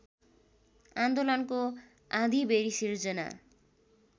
आन्दोलनको आँधीबेरी सिर्जना